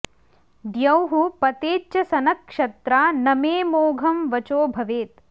द्यौः पतेच्च सनक्षत्रा न मे मोघं वचो भवेत्